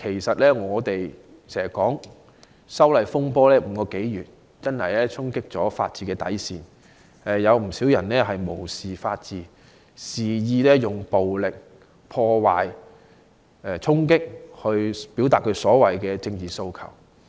修例風波已持續5個多月，確實衝擊了法治的底線，不少人無視法治，肆意以暴力破壞和衝擊的行為表達所謂的政治訴求。